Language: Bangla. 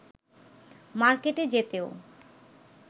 মার্কেটে যেতেও